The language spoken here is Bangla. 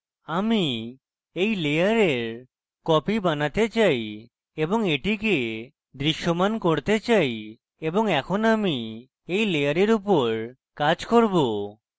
আমি এই layer copy বানাতে চাই এবং এটিকে দৃশ্যমান করতে চাই এবং এখন আমি এই layer উপর কাজ করব